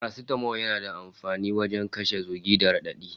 Farastamol yana da amfani wajen kashe zugi da raɗaɗi